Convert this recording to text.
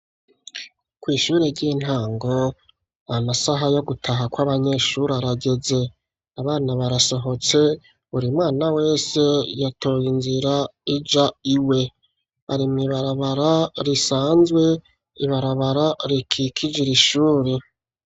Kw'ishuri, ry'intango, amasaha yo gutaha, kw'abanyeshuri, arageze; abana barasohotse, buri mwana wese, yatoye inzira, ija iwe; bari mw'ibarabara, risanzwe, ibarabara rikikije iri shuri.